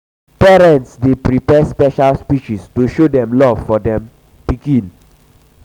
um parents um dey prepare special speeches to show dem love for dem love for pikin.